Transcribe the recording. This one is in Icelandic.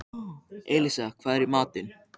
Elísa, hvað er í matinn?